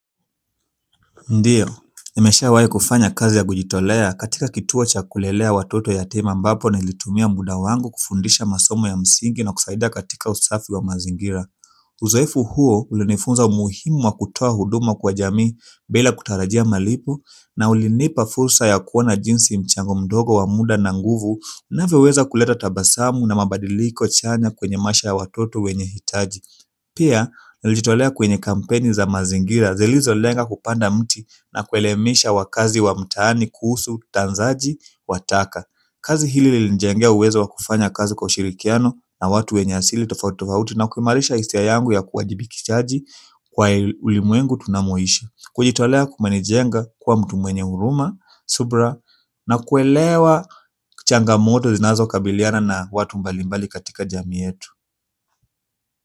Ndio, nimeshawai kufanya kazi ya kujitolea katika kituo cha kulelea watoto yatima ambapo nilitumia muda wangu kufundisha masomo ya msingi na kusaidia katika usafi wa mazingira. Uzoefu huo ulinifunza umuhimu wa kutoa huduma kwa jamii bila kutarajia malipo na ulinipa fursa ya kuona jinsi mchango mdogo wa muda na nguvu inavyoweza kuleta tabasamu na mabadiliko chanya kwenye maisha ya watoto wenye hitaji. Pia, nilijitolea kwenye kampeni za mazingira zilizolenga kupanda mti na kuelimisha wakaazi wa mtaani, kuhusu, tanzaji, wa taka kazi hili linijengea uwezo wa kufanya kazi kwa ushirikiano na watu wenye asili tofauti tofauti na kuimarisha hisia yangu ya kuwajibikishaji kwa ulimwengu tunamoishi kujitolea kumenijenga kuwa mtu mwenye huruma, subira na kuelewa changamoto zinazokabiliana na watu mbalimbali katika jamii yetu.